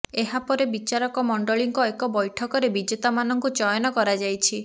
ଏହାପରେ ବିଚାରକ ମଣ୍ଡଳୀଙ୍କ ଏକ ବ୘ଠକରେ ବିଜେତାମାନଙ୍କୁ ଚୟନ କରାଯାଇଛି